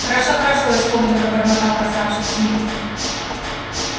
хорошо хорошо испуганно забормотал красавчик смит